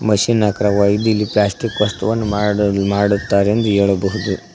Machine ಆಕಾರವಾಗಿದ್ದು ಇಲ್ಲಿ plastic ವಸ್ತುವನ್ನು ಮಾಡು ಮಾಡುತ್ತಾರೆ ಎಂದು ಹೇಳಬಹುದು.